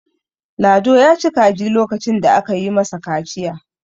lado ya ci kaji lokacin da aka yi masa kaciya